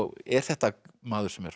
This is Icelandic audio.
er þetta maður sem er